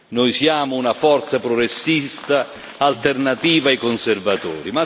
Noi siamo una forza progressista, alternativa ai conservatori.